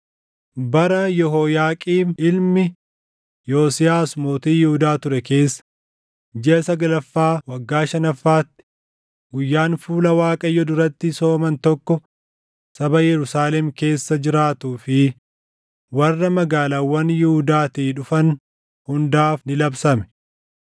Bara Yehooyaaqiim ilmi Yosiyaasi mootii Yihuudaa ture keessa jiʼa saglaffaa waggaa shanaffaatti guyyaan fuula Waaqayyo duratti sooman tokko saba Yerusaalem keessa jiraatuu fi warra magaalaawwan Yihuudaatii dhufan hundaaf ni labsame.